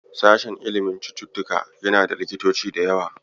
Sashen ilimin cututtuka yana da likitoci da yawa.